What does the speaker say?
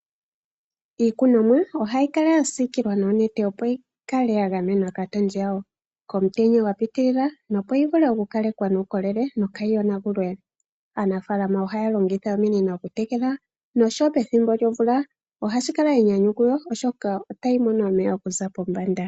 Iikunomwa ohayi kala ya siikilwa noonete, opo yi kale ya gamenwa kaatondi yawo, komutenya gwa piitilila nopo yi vule okukalekwa nuukolele yo kaayi yonagulwe. Aanafaalama ohaya longitha ominino okutekela noshowo pethimbo lyomvula ohashi kala enyanyu kuyo, oshoka otayi mono omeya okuza pombanda.